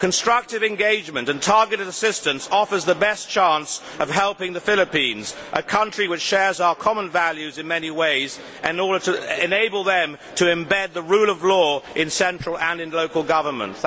Constructive engagement and targeted assistance offer the best chance of helping the Philippines, a country which shares our common values in many ways, in order to enable them to embed the rule of law in central and in local government.